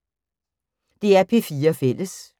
DR P4 Fælles